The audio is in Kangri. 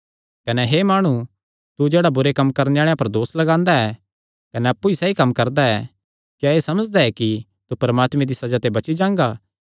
कने हे माणु तू जेह्ड़ा बुरे कम्म करणे आल़ेआं पर दोस लगांदा ऐ कने अप्पु सैई कम्म करदा ऐ क्या एह़ समझदा ऐ कि तू परमात्मे दिया सज़ा ते बची जांगा